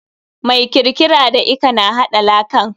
Mai kirkiara da lka na haɗa lakan.